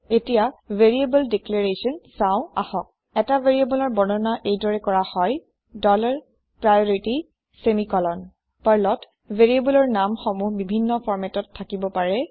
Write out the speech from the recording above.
এতিয়া variable declaration চাওঁ আহক এটা variableৰ বৰ্ণনা এইদৰে কৰা হয় ডলাৰ প্ৰাইঅৰিটি ছেমিকলন পাৰ্লত Variableৰ নাম সমূহ বিভিন্ন formatত থাকিব পাৰে